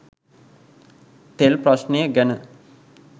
තෙල් ප්‍රශ්නය ගැන